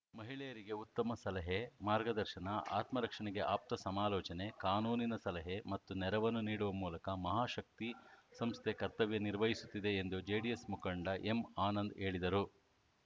ಮಹಿಳೆಯರಿಗೆ ಉತ್ತಮ ಸಲಹೆ ಮಾರ್ಗದರ್ಶನ ಆತ್ಮರಕ್ಷಣೆಗೆ ಆಪ್ತ ಸಮಾಲೋಚನೆ ಕಾನೂನಿನ ಸಲಹೆ ಮತ್ತು ನೆರವನ್ನು ನೀಡುವ ಮೂಲಕ ಮಹಾಶಕ್ತಿ ಸಂಸ್ಥೆ ಕರ್ತವ್ಯ ನಿರ್ವಹಿಸುತ್ತಿದೆ ಎಂದು ಜೆಡಿಎಸ್‌ ಮುಖಂಡ ಎಂಆನಂದ್‌ ಹೇಳಿದರು